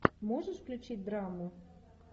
можешь включить драму